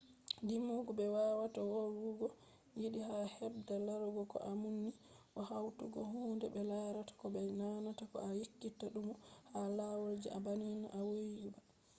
didugo be wawata wolwugo yiɗi ha bedda larugo ko a nummi do hautugo hunde be larata ko be nanata bo a ekkita numugo ha lawol je na banni a vowi ba